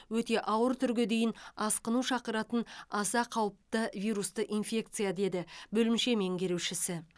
өте ауыр түрге дейін асқыну шақыратын аса қауіпті вирусты инфекция деді бөлімше меңгерушісі